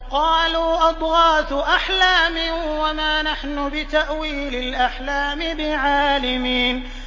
قَالُوا أَضْغَاثُ أَحْلَامٍ ۖ وَمَا نَحْنُ بِتَأْوِيلِ الْأَحْلَامِ بِعَالِمِينَ